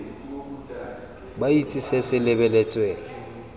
ba itse se se lebeletsweng